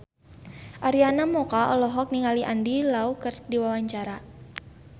Arina Mocca olohok ningali Andy Lau keur diwawancara